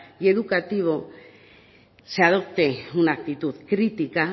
y educativo se adopte una actitud crítica